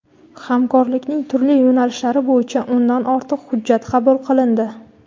hamkorlikning turli yo‘nalishlari bo‘yicha o‘ndan ortiq hujjat qabul qilindi.